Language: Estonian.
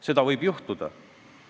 Seda võib juhtuda.